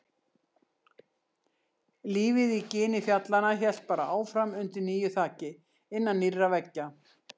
Lífið í gini fjallanna hélt bara áfram undir nýju þaki, innan nýrra veggja.